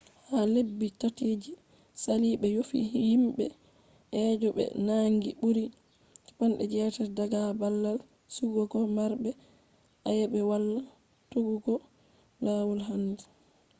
ha lebbi 3 je sali be yofi himbe je be nangi buri 80 daga babal sigugo marbe ayebe wala tokkugo lawol handi